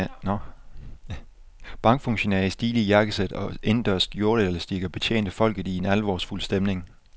Bankfuntionærer i stilige jakkesæt og indendørs skjorteelastikker betjente folket i en alvorsfuld stemning.